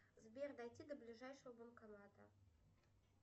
сбер дойти до ближайшего банкомата